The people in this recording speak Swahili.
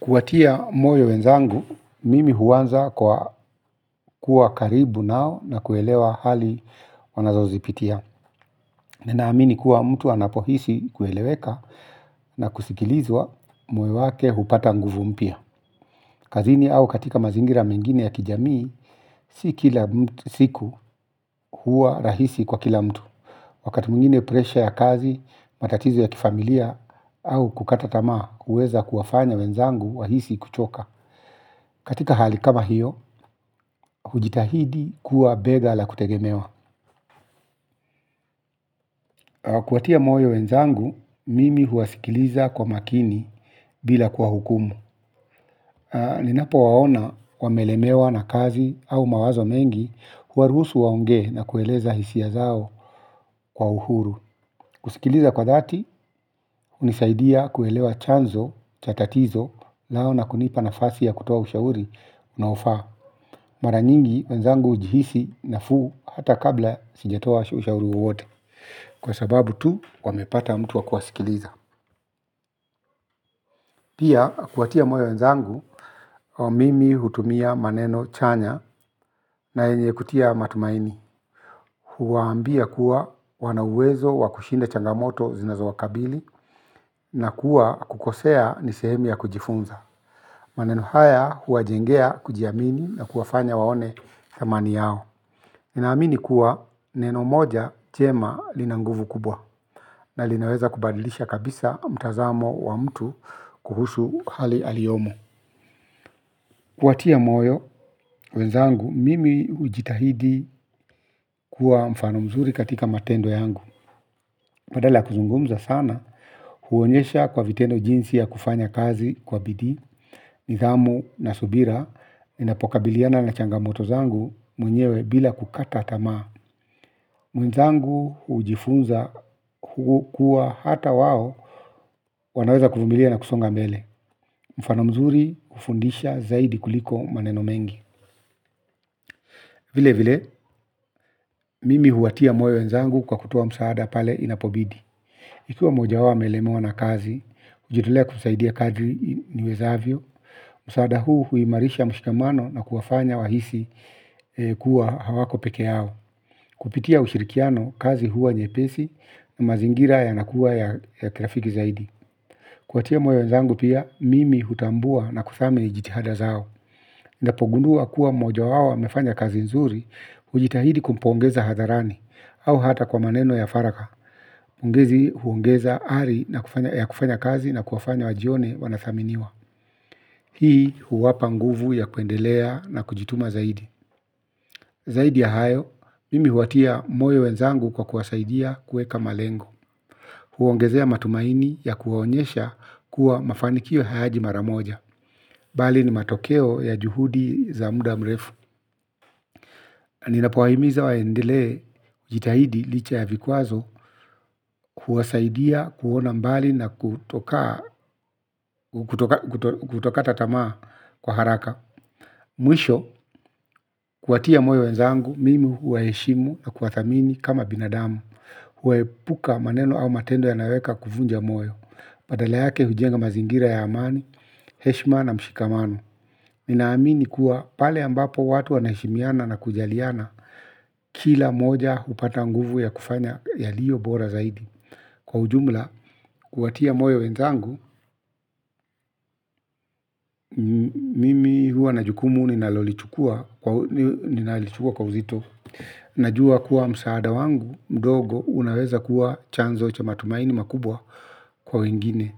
Kuwatia moyo wenzangu mimi huanza kwa kuwa karibu nao na kuelewa hali wanazozipitia. Ninaamini kuwa mtu anapohisi kueleweka na kusikilizwa moyo wake hupata nguvu mpya. Kazini au katika mazingira mengine ya kijamii, si kila siku huwa rahisi kwa kila mtu. Wakati mwingine presha ya kazi, matatizo ya kifamilia au kukata tamaa huweza kuwafanya wenzangu wahisi kuchoka. Katika hali kama hiyo, hujitahidi kuwa bega la kutegemewa. Kuwatia moyo wenzangu, mimi huwasikiliza kwa makini bila kuwahukumu. Ninapowaona wamelemewa na kazi au mawazo mengi huwaruhusu waongee na kueleza hisia zao kwa uhuru. Kusikiliza kwa dhati hunisadia kuelewa chanzo cha tatizo nao na kunipa nafasi ya kutoa ushauri unaofaa. Mara nyingi wenzangu hujihisi nafuu hata kabla sijatoa ushauri wowote. Kwa sababu tu wamepata mtu wa kuwasikiliza. Pia, kuwatia moyo wenzangu mimi hutumia maneno chanya na yenye kutia matumaini. Huwaambia kuwa wana uwezo wa kushinda changamoto zinazowakabili na kuwa kukosea ni sehemu ya kujifunza. Maneno haya huwajengea kujiamini na kuwafanya waone thamani yao. Ninaamini kuwa neno moja jema lina nguvu kubwa na linaweza kubadilisha kabisa mtazamo wa mtu kuhusu hali aliyomo. Kuwatia moyo wenzangu mimi hujitahidi kuwa mfano mzuri katika matendo yangu. Badala kuzungumza sana huonyesha kwa vitendo jinsi ya kufanya kazi kwa bidii. Nidhamu na subira ninapokabiliana na changamoto zangu mwenyewe bila kukata tamaa. Wenzangu hujifunza kuwa hata wao wanaweza kuvumilia na kusonga mbele. Mfano mzuri hufundisha zaidi kuliko maneno mengi. Vilevile mimi huwatia moyo wenzangu kwa kutoa msaada pale inapobidi. Ikiwa mmoja wao amelemewa na kazi hujitolea kusaidia kadiri niwezavyo. Msaada huu huimarisha mshikamano na kuwafanya wahisi kuwa hawako peke yao kupitia ushirikiano kazi huwa nyepesi na mazingira yanakuwa ya kirafiki zaidi. Kuwatia moyo wenzangu pia mimi hutambua na kuthamini jitihada zao. Ninapogundua kuwa mmoja wao amefanya kazi nzuri, hujitahidi kumpongeza hadharani au hata kwa maneno ya faragha. Pongezi huongeza ari ya kufanya kazi na kuwafanya wajione wanathaminiwa. Hii huwapa nguvu ya kuendelea na kujituma zaidi. Zaidi ya hayo, mimi huwatia moyo wenzangu kwa kuwasaidia kuweka malengo. Huongezea matumaini ya kuwaonyesha kuwa mafanikio hayaji mara moja. Bali ni matokeo ya juhudi za muda mrefu. Ninapowahimiza waendelee kujitahidi licha ya vikwazo huwasaidia kuona mbali na kutokaa kutokata tamaa kwa haraka. Mwisho kuwatia moyo wenzangu mimi huwaheshimu na kuwathamini kama binadamu. Huepuka maneno au matendo yanayoweka kuvunja moyo badala yake hujenga mazingira ya amani, heshima na mshikamano. Ninaamini kuwa pale ambapo watu wanaheshimiana na kujaliana. Kila mmoja hupata nguvu ya kufanya yaliyo bora zaidi kwa ujumla, kuwatia moyo wenzangu mimi huwa na jukumu ninalolichukua ninalichukua kwa uzito. Najua kuwa msaada wangu mdogo unaweza kuwa chanzo cha matumaini makubwa kwa wengine,